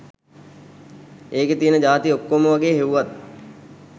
ඒකෙ තියෙන ජාති ඔක්කොම වගේ හෙව්වත්